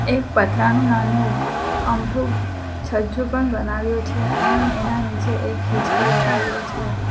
એક પતરાનુ નાનુ અમથું અમથું છજ્જુ પણ બનાવ્યુ છે અને એના નીચે એક હિંચકો લગાય્વો છે.